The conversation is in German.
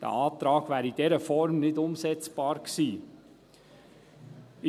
Dieser Antrag wäre in dieser Form nicht umsetzbar gewesen.